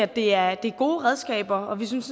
det er gode redskaber og vi synes